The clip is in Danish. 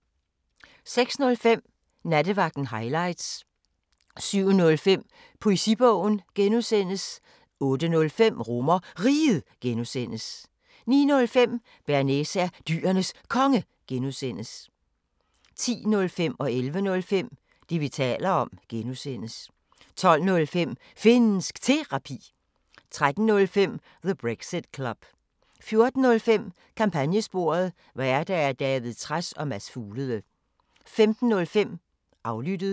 06:05: Nattevagten Highlights 07:05: Poesibogen (G) 08:05: RomerRiget (G) 09:05: Bearnaise er Dyrenes Konge (G) 10:05: Det, vi taler om (G) 11:05: Det, vi taler om (G) 12:05: Finnsk Terapi 13:05: The Brexit Club 14:05: Kampagnesporet: Værter: David Trads og Mads Fuglede 15:05: Aflyttet